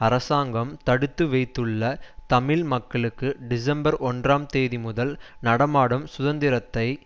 அரசாங்கம் தடுத்து வைத்துள்ள தமிழ் மக்களுக்கு டிசம்பர் ஒன்றாம் தேதி முதல் நடமாடும் சுதந்திரத்தை